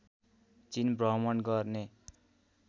चीन भ्रमण गर्ने